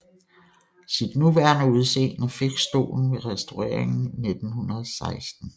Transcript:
Sit nuværende udseende fik stolen ved restaureringen 1916